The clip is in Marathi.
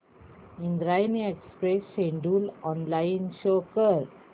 Indrayani express schedule online show कर